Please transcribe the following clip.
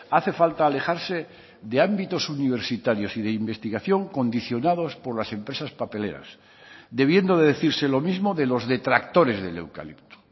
hace falta alejarse de ámbitos universitarios y de investigación condicionados por las empresas papeleras debiendo de decirse lo mismo de los detractores del eucalipto